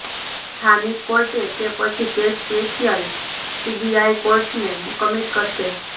સ્થાનિક કોર્ટ કે પછી કેસ સ્પેશ્યલ સીબીઆઇ કોર્ટને કમીટ કરશે